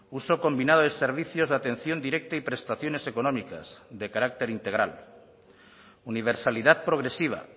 uso combinado de servicios de atención directa y prestaciones económicas de carácter integral universalidad progresiva